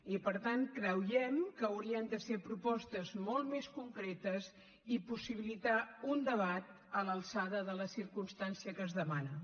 i per tant creiem que haurien de ser propostes molt més concretes i possibilitar un debat a l’alçada de la circumstància que es demana